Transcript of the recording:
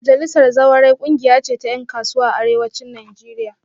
Majalisar Zawarai kungiya ce ta yan kasuwa a Arewacin Najeriya